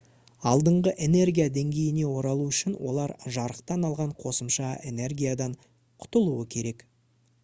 алдыңғы энергия деңгейіне оралу үшін олар жарықтан алған қосымша энергиядан құтылуы керек